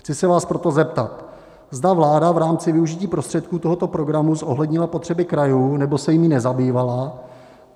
Chci se vás proto zeptat, zda vláda v rámci využití prostředků tohoto programu zohlednila potřeby krajů, nebo se jimi nezabývala.